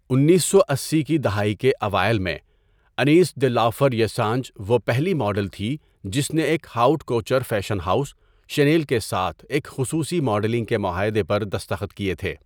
انیسو اسی کی دہائی کے اوائل میں، انیس دے لا فریسانج وہ پہلی ماڈل تھی جس نے ایک haute couture fashion house, Chanel کے ساتھ ایک خصوصی ماڈلنگ کے معاہدے پر دستخط کیے تھے.